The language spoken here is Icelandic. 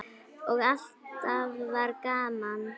Og alltaf var gaman.